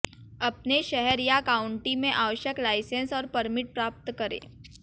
अपने शहर या काउंटी में आवश्यक लाइसेंस और परमिट प्राप्त करें